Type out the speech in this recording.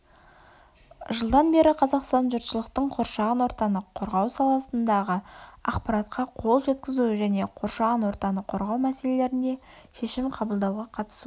жылдан бері қазақстан жұртшылықтың қоршаған ортаны қорғау саласындағы ақпаратқа қол жеткізуі және қоршаған ортаны қорғау мәселелерінде шешім қабылдауға қатысуы